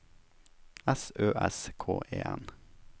S Ø S K E N